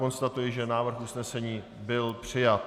Konstatuji, že návrh usnesení byl přijat.